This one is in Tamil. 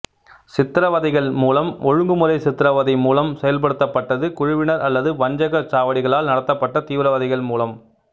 சித்திரவதைகள் மூலம் ஒழுங்குமுறை சித்திரவதை மூலம் செயல்படுத்தப்பட்டது குழுவினர் அல்லது வஞ்சக சாவடிகளால் நடத்தப்பட்ட தீவிரவாதிகள் மூலம்